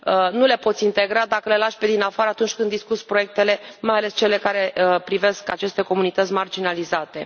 Nu le poți integra dacă le lași pe dinafară atunci când discuți proiectele, mai ales pe cele care privesc aceste comunități marginalizate.